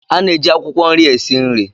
A na-eji akwukwo nri esi nri.